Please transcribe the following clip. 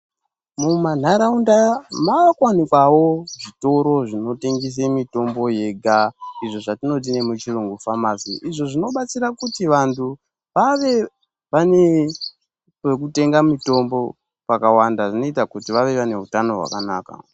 Mumanharaunda maakuwanikwawo zvitoro zvinotengese mitombo yega izvo zvatinoti muchirungu famasi izvo zvinobatsira kuti vantu vave vane kwekutenga mitombo kwakawanda, zvinoita kuti vave vanehutano hwakanaka.